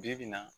Bi-bi in na